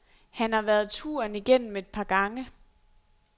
Han har været turen igennem et par gange.